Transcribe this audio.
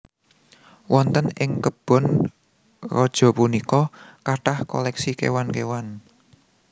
Wonten ing kebon raja punika kathah koleksi kéwan kéwan